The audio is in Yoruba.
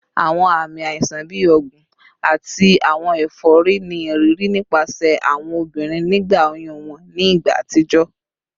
Awọn aami aisan bi ọgbun ati awọn efori ni iriri nipasẹ awọn obirin nigba oyun wọn ni igba atijọ